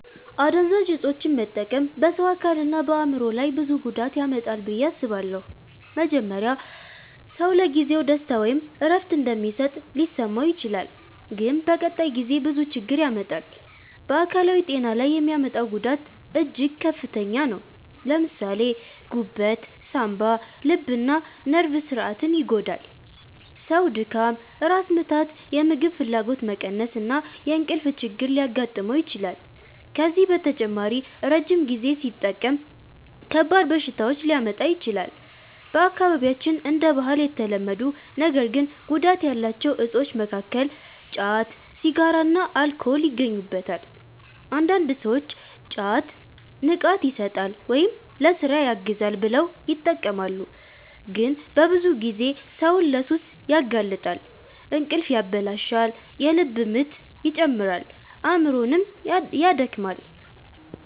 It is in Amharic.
አደንዛዥ እፆችን መጠቀም በሰው አካልና በአእምሮ ላይ ብዙ ጉዳት ያመጣል ብዬ አስባለሁ። መጀመሪያ ሰው ለጊዜው ደስታ ወይም እረፍት እንደሚሰጥ ሊመስለው ይችላል፣ ግን በቀጣይ ጊዜ ብዙ ችግር ያመጣል። በአካላዊ ጤና ላይ የሚያመጣው ጉዳት እጅግ ከፍተኛ ነው። ለምሳሌ ጉበት፣ ሳንባ፣ ልብና ነርቭ ስርዓትን ይጎዳል። ሰው ድካም፣ ራስ ምታት፣ የምግብ ፍላጎት መቀነስ እና የእንቅልፍ ችግር ሊያጋጥመው ይችላል። ከዚህ በተጨማሪ ረጅም ጊዜ ሲጠቀም ከባድ በሽታዎች ሊያመጣ ይችላል። በአካባቢያችን እንደ ባህል የተለመዱ ነገር ግን ጉዳት ያላቸው እፆች መካከል ጫት፣ ሲጋራና አልኮል ይገኙበታል። አንዳንድ ሰዎች ጫት “ንቃት ይሰጣል” ወይም “ለሥራ ያግዛል” ብለው ይጠቀማሉ፣ ግን በብዙ ጊዜ ሰውን ለሱስ ያጋልጣል። እንቅልፍ ያበላሻል፣ የልብ ምት ይጨምራል፣ አእምሮንም ያደክማል።